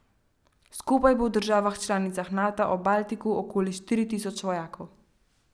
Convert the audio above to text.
Skupaj bo v državah članicah Nata ob Baltiku okoli štiri tisoč vojakov.